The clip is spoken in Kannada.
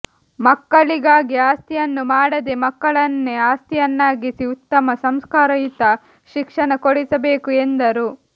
ಮಕ್ಕಳಿಗಾಗಿ ಆಸ್ತಿನ್ನು ಮಾಡದೇ ಮಕ್ಕಳನ್ನೆ ಆಸ್ತಿಯನ್ನಾಗಿಸಿ ಉತ್ತಮ ಸಂಸ್ಕಾರಯುತ ಶಿಕ್ಷಣ ಕೊಡಿಸಬೇಕು ಎಂದರು